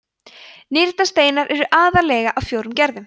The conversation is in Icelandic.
nýrnasteinar eru aðallega af fjórum gerðum